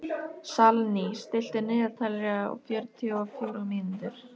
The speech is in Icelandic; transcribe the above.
Salný, stilltu niðurteljara á fjörutíu og fjórar mínútur.